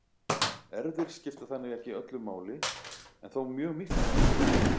erfðir skipta þannig ekki öllu máli en þó mjög miklu máli